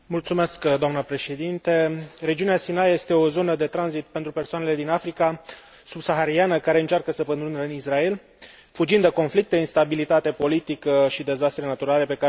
Regiunea Sinai este o zonă de tranzit pentru persoanele din Africa Subsahariană care încearcă să pătrundă în Israel, fugind de conflicte, instabilitate politică și dezastre naturale pe care le cunosc în țările din care provin.